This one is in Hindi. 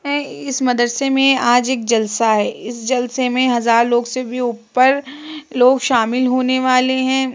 हैं इस मदरसे में आज एक जलसा है। इस जलसे में हज़ार लोग से भी ऊपर लोग शामिल होने वाले हैं।